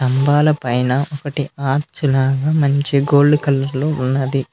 స్థంబాల పైన ఒకటీ ఆర్చ్ లాగా మంచి గోల్డ్ కలర్ లో ఉన్నది.